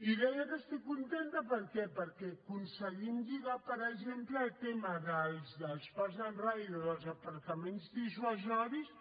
i deia que estic contenta per què perquè aconseguim lligar per exemple el tema dels park and rides dels aparcaments dissuasius